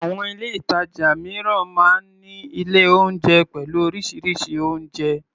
Àwọn ilé-ìtàjà mìíràn máa ń ní ilé-oúnjẹ pẹ̀lú oríṣiríṣi oúnjẹ.